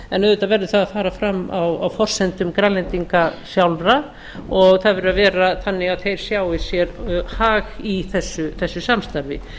en auðvitað verður það að fara fram á forsendum grænlendinga sjálfra og það verður að vera þannig að þeir sjái sér hag í þessu samstarfi